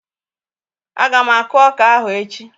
Ága m aku ọka ahụ echi